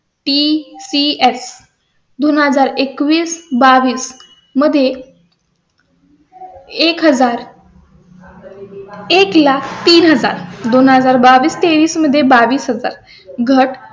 दोन हजार एकवीस बावीस मध्ये एक. हजार एक लाख तीन हजार दोन हजार बावीस तेवीस मध्ये बावीस हजार घट